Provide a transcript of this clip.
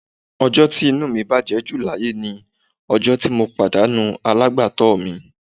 Ọjọ́ tí inú mi bàjẹ́ ju láyé ni ọjọ́ tí mo pàdánù alágbàtọ́ mi